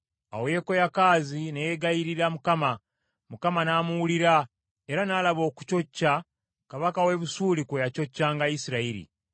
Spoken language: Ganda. Awo Yekoyakaazi ne yegayirira Mukama , Mukama n’amuwulira, era n’alaba okucocca, kabaka w’e Busuuli kwe yacoccanga Isirayiri.